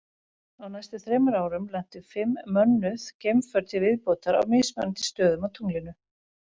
Á næstu þremur árum lentu fimm mönnuð geimför til viðbótar á mismunandi stöðum á tunglinu.